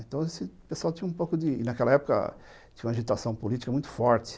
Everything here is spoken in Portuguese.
Então assim, o pessoal tinha um pouco de... Naquela época, tinha uma agitação política muito forte.